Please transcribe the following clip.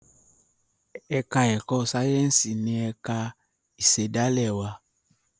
èka èko Sáyẹnsì ní ẹka ìsèdálè wá